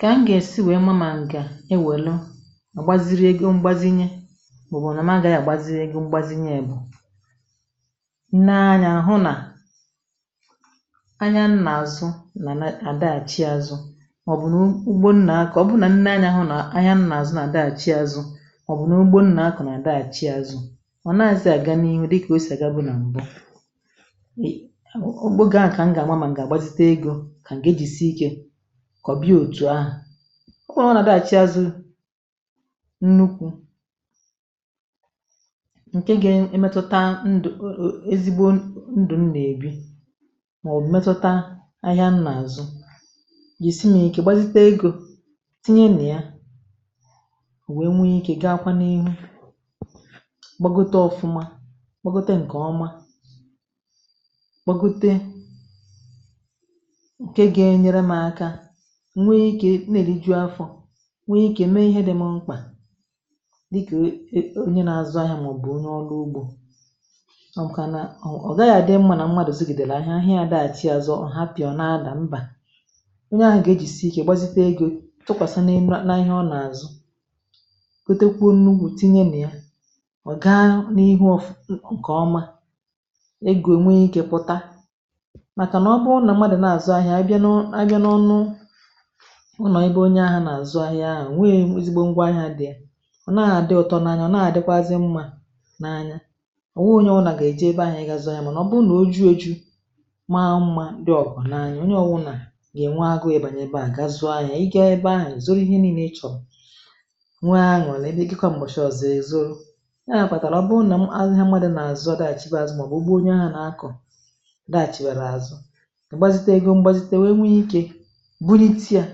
Kà m gà-èsi nwèe ma (ma ǹgà ewèlu àgbaziri ego mgbazinye mà ọ bụ̀ nà m aghaghị àgbazie ego mgbazinye bụ̀ nee anyȧ hụ nà anya nà àzụ nà na-àdaghàchị azụ màọ̀bụ̀ nà ụgbȯ nà akọ ọ bụrụ nà nee anya hụ nà anya nà àzụ nà àdaghachị azụ màọ̀bụ̀ nà ugbo nà àkọ nà àdaghachị azụ ọ̀ naghịzi àga n’ihu dịkà osì àgabu nà m̀bụ ị ọ ogbe ahụ kà m gà-àma ma m gà-àgbasite egȯ kà m ga eji sie ike kọba ya etu ahụ. Ọkwa ọ bụrụ nà adịghàchi azụ nnukwu ǹke gȧ emetuta ndụ̀ ezigbo ndụ̀ m nà-èbi màọbụ̀ metuta ahịa nà-àzụ yèsi mà ike gbazite egȯ tinye nà ya wèe nwee ike gawakwa n’ihu gbȧgote ọ̀fụma, gbȧgote ǹkè ọma, gbȧgote nke ga enyere mụ aka nwé ike na-eli jụụ afọ̇ nwee ike mee ihe dị mụ mkpà dịkà onye na-azụ̇ ahịa màọbụ̀ onye ọlụ ugbȯ ọ maka na ọ̀ gaghị̇ àdị mmȧ nà mmadụ̀ zigìdèlà ahịa ahịa ya daghàchi àzụ ọ̀ hapụ ya ọ̀ na-ada mbà onye ahụ̀ gà-ejìsì ike gbazite egȯ tụkwàsà na-enu n’ihe ọ nà-azụ̀ gọtekwuo nnukwu tinye nà ya ọ̀ gaa n’ihu ọ̀fụ̀ ǹkè ọma egȯ nwee ike pụ̀ta màkà nà ọ bụrụ nà mmadù nà-àzụ ahịa a bịa nu a bịa n'onu ụnọ̀ ebe onye ahụ̀ nà-àzụ ahịa ahụ̀ enwee ezigbo ngwa ahịa dị̀ ya ọ nàghị àdị ụ̀tọ n’anya ọ̀ nàghị àdịkwazị mmȧ n’anya ọ̀ nwụghị onye ọ̀wụ̇nà gà-èje ebe ahụ̀ ị gȧzụ áhiá mànà ọ bụrụ nà o juo eju̇ maa mmȧ dị ọ̀gọ na-anya onye ọwụ̇nà gà-ènwe agụ̇ ebànye ebe àhụ ga zuo ahịa ị gȧ ebe ahụ̀ èzoro ihe nii̇nė ịchọ̀ nwee anuri ebịakwa m̀gbọ̀shị ọ̀zọ èzuru, ya kpàtàrà ọ bụrụ nà ahịa mmadụ̇ nà-àzụ ọ̀ daàchiwe azụ̇ ma ọ̀ bụ̀ ụgbọ onye ahụ̀ nà akọ̀ dààchìwèrè azụ igbazite ego gbȧgote wee nwe ike bunitị a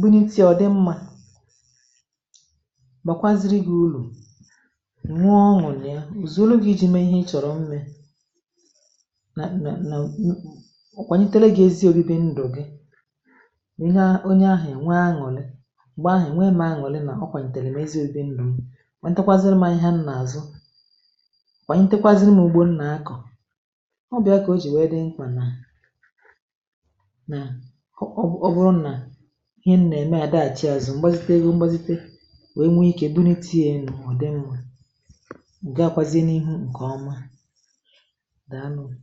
bụ n’iti̇ ọ̀ dị mmȧ gbàkwaziri gị̇ uru enwe ọṅụ na ya ọ̀zọrọ gị jị̇ mee ihe ị chọ̀rọ̀ mmė na na na kwànyitele gị ezi̇ obibi ndụ̀ gị onye ahụ̀ onye ahụ̀ ènwe aṅụ̀lị m̀gbè ahụ̀ ènwe mụ aṅụ̀lị nà o kwànyètèlè m ezi ȯbi̇ bi ndụ̀ m, kwa ǹtekwaziri mu ihe ahịa nà-àzụ, kwa ǹtekwaziri mụ ugbo nà-akọ̀. Ọ bụ ya kà o jì wee dị mkpa na na ọ bụrụ na ihe m nà-ème àdàghàchi àzụ m̀gbazite ego m̀gbazite wee nwee ikė dụniti enu ọ̀dị mma gawakwazie n’ihu ǹkè ọma daalunù.